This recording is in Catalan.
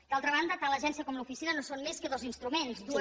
d’altra banda tant l’agència com l’oficina no són més que dos instruments dues